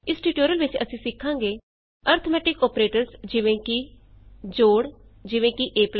ਇਸ ਟਯੂਟੋਰੀਅਲ ਵਿਚ ਅਸੀਂ ਸਿਖਾਂਗੇ ਅਰਥਮੈਟਿਕ ਅੋਪਰੇਟਰਸ ਜਿਵੇਂ ਕਿ ਜੋੜ ਐਡੀਸ਼ਨ ਈਜੀ